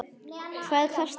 Hvað kostaði hann?